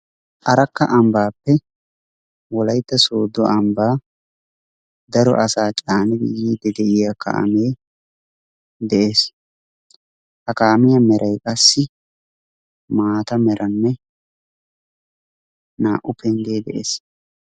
Arakka ambbappe wolaytta soodo ambba daro asaa caanidi yiidi deiya kaame de'ees. Ha kaamiya meray qassi maataa meranee naa'u penggee de'ees.